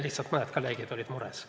Lihtsalt mõned kolleegid olid mures.